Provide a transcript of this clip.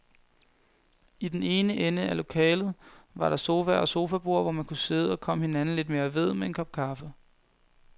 I den ene ende af lokalet var der sofaer og sofaborde, hvor man kunne sidde og komme hinanden lidt mere ved med en kop kaffe.